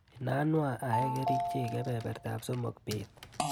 Inanwa aee kerichek kebebertap somok bet.